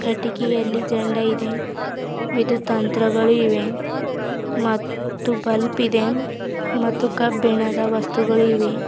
ಕೀಟಗಿಯಲ್ಲಿ ಝಂಡ ಇದೆ ವಿದು ತಂತ್ರಗಳು ಇವೆ ಮತ್ತು ಬಲ್ಬ್ ಇದೆ ಮತ್ತು ಕಬ್ಬಿಣದ ವಸ್ತುಗಳು ಇವೆ.